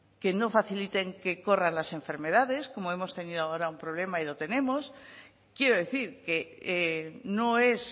que no faciliten que corran las enfermedades como hemos tenido ahora un problema y lo tenemos quiero decir que no es